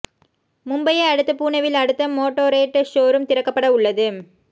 மும்பையை அடுத்து புனேவில் அடுத்த மோட்டோரேட் ஷோரூம் திறக்கப்பட உள்ளது